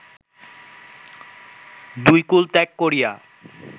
দুই কুল ত্যাগ করিয়া